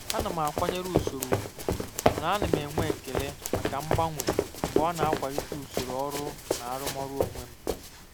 Ana m akwanyere usoro ùgwù mana ana m enwe ekele maka mgbanwe mgbe ọ na-akwalite usoro ọrụ na arụmọrụ onwe m.